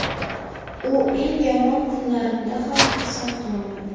U eng yomon kunlarimda ham xursand qila oladi.